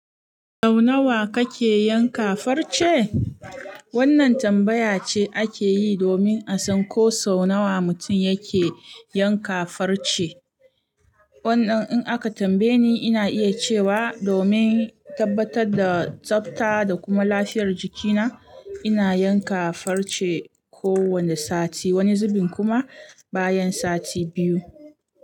Sau nawa kake yanka farce? Wannan tambaya ce ake yi domin a san ko sau nawa mutum yake yanka farce. Wannan in aka tambaye ni, ina iya cewa domin tabbatar da tsafta da kuma lafiyar jikina, ina yanka farce kowane sati, wani zubin kuma bayan sati biyu.